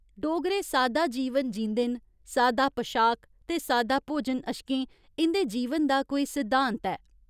डोगरे सादा जीवन जींदे न सादा पशाक ते सादा भोजन अश्कें इं'दे जीवन दा कोई सिद्धांत ऐ।